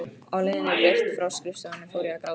Á leiðinni burt frá skrifstofunni fór ég að gráta.